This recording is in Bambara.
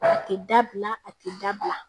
A tɛ dabila a tɛ dabila